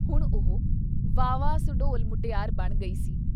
ਹੁਣ ਉਹ ਵਾਹਵਾ ਸੁਡੌਲ ਮੁਟਿਆਰ ਬਣ ਗਈ ਸੀ।